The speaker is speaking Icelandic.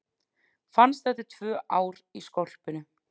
Fannst eftir tvö ár í skolpinu